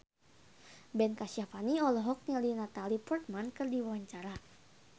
Ben Kasyafani olohok ningali Natalie Portman keur diwawancara